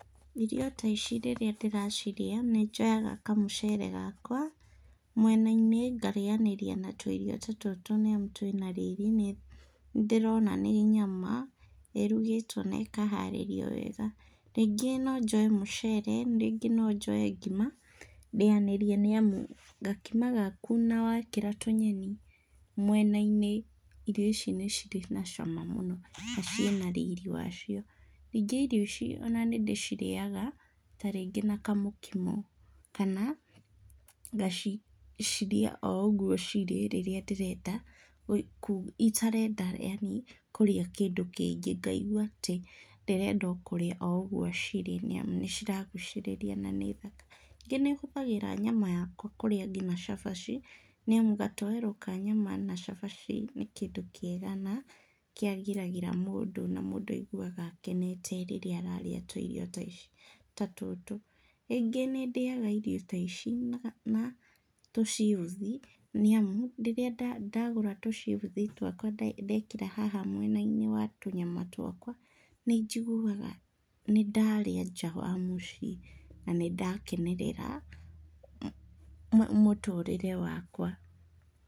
Irio ta ici rĩrĩa ndĩracirĩa, nĩ njoyaga kamũcere gakwa mwena-inĩ ngarĩanĩria na tũirio ta tũtũ nĩ amu twĩna riri, nĩ ndĩrona nĩ nyama ĩrugĩtwo na ĩkaharĩrio wega. Rĩngĩ no njoe mũcere, rĩngĩ no njoe ngima ndĩanĩrie nĩamu gakima gaku na tũnyeni mwena-inĩ, irio ici nĩ cirĩ na cama mũno na ciĩna riri wacio. Ningĩ irio ici nĩ ndĩcirĩaga ta rĩngĩ na kamũkimo kana ngaciarĩa o ũguo cirĩ rĩrĩa ndĩrenda, itarenda yani kũrĩa kĩndũ kĩngĩ, ngaigua atĩ ndĩrenda kũrĩa o ũguo cirĩ nĩamu nĩcirangucĩrĩria na nĩ thaka. Ningĩ nĩhũthagĩra nyama yakwa kũrĩa ngina cabaci nĩ amu gatoweroka nyama na cabaci nĩ kĩndũ kĩega na kĩgagĩra mũndũ na mũndũ aiguaga akenete rĩrĩa ararĩa tũirio ta ici, ta tũtũ. Rĩngĩ nĩ ndĩaga irio ta ici na tũcibuthi nĩamu rĩrĩa ndagũra tũcibuthi twakwa ndekĩra haha mwena-inĩ wa tũnyama twakwa nĩnjiguaga nĩ ndarĩa nja wa mũciĩ na nĩndakenerera mũtũrĩre wakwa.